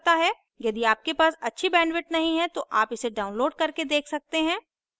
यदि आपके पास अच्छी bandwidth नहीं है तो आप इसे download करके देख सकते हैं